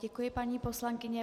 Děkuji, paní poslankyně.